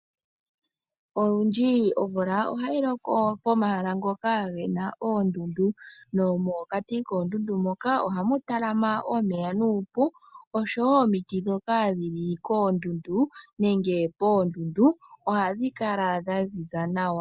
Olundji omvula ohayi loko pomahala mpoka pu na oondundu. Nomokati koondundu moka ohamu talama omeya nuupu nosho wo omiti ndhoka dhi li koondundu nenge poondundu ohadhi kala dha ziza nawa.